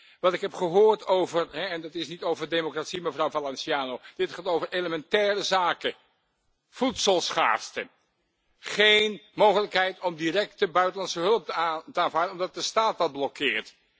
En wat ik heb gehoord over en dit gaat niet over democratie, mevrouw Valenciano, dit gaat over elementaire zaken voedselschaarste, geen mogelijkheid om directe buitenlandse hulp te aanvaarden omdat de staat dat blokkeert.